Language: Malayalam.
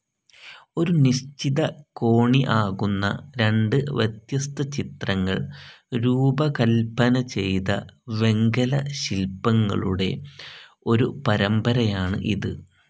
ഒരു നിശ്ചിത കോണി ആകുന്ന രണ്ട് വ്യത്യസ്ഥ ചിത്രങ്ങൾ രൂപകൽപ്പന ചെയ്ത വെങ്കല ശിൽപ്പങ്ങളുടെ ഒരു പരമ്പരയാണ് ഇത്.